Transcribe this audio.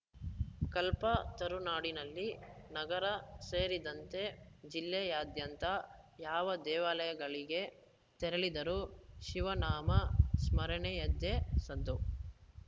ಕಲ್ಪತರುನಾಡಿನಲ್ಲಿ ನಗರ ಸೇರಿದಂತೆ ಜಿಲ್ಲೆಯಾದ್ಯಂತ ಯಾವ ದೇವಾಲಯಗಳಿಗೆ ತೆರಳಿದರೂ ಶಿವನಾಮ ಸ್ಮರಣೆಯದ್ದೇ ಸದ್ದು